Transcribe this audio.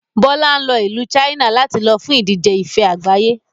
Bọlá ń lọ ìlú China láti lọ fún ìdíje ife àgbáyé